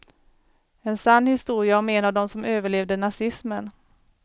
En sann historia om en av dem som överlevde nazismen.